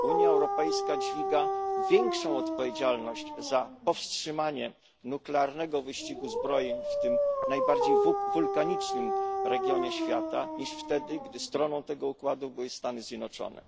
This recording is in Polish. Unia Europejska dźwiga większą odpowiedzialność za powstrzymanie nuklearnego wyścigu zbrojeń w tym najbardziej wulkanicznym regionie świata, niż wtedy, gdy stroną tego układu były Stany Zjednoczone.